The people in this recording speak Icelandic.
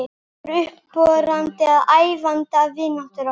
Það varð upphafið að ævarandi vináttu okkar.